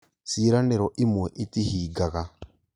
ciĩranĩro imwe itihingaga